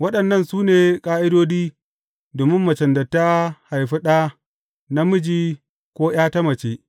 Waɗannan su ne ƙa’idodi domin macen da ta haifi ɗa namiji ko ’ya ta mace.